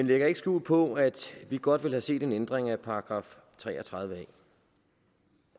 lægger ikke skjul på at vi godt ville have set en ændring af § tre og tredive